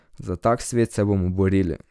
Za tak svet se bomo borili.